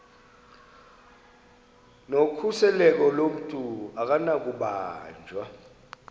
nokhuseleko lomntu akunakubanjwa